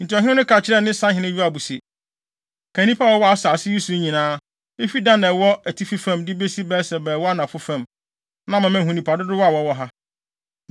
Enti ɔhene no ka kyerɛɛ ne sahene Yoab se, “Kan nnipa a wɔwɔ asase yi so nyinaa, efi Dan a ɛwɔ atifi fam, de besi Beer-Seba a ɛwɔ anafo fam, na ama mahu nnipa dodow a wɔwɔ ha.”